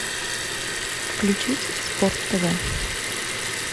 включить спорт тв